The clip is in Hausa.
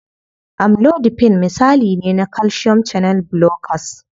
Amlodipine misali ne na calcium channel blockers.